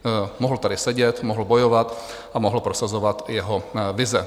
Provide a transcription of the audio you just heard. Mohl tady sedět, mohl bojovat a mohl prosazovat své vize.